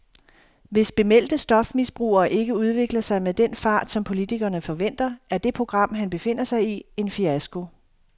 Hvis bemeldte stofmisbrugere ikke udvikler sig med den fart, som politikerne forventer, er det program, han befinder sig i, en fiasko.